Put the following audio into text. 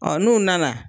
Ɔ n'u nana